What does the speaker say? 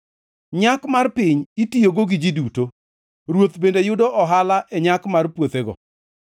Nyak mar piny itiyogo gi ji duto; ruoth bende yudo ohala e nyak mar puothego.